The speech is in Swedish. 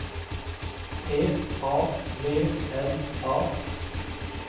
T A V L A